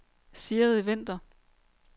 Sigrid Vinther